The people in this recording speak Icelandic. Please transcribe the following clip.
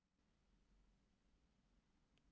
Já því miður.